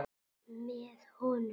Með honum.